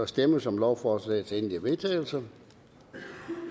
stemmes om lovforslagets endelige vedtagelse jeg